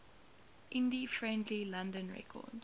indie friendly london records